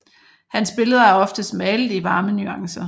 Hans billeder er oftest malet i varme nuancer